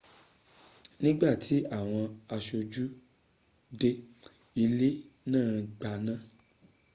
ní ìgbà tí àwọn aṣojú dé ilé náà gbaná